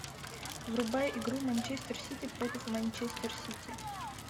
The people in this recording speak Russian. врубай игру манчестер сити против манчестер сити